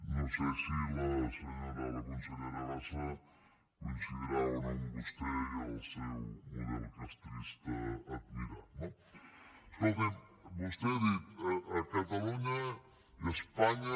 no sé si la consellera bassa coincidirà o no amb vostè i el seu model castrista admirat no escolti’m vostè ha dit a catalunya i a espanya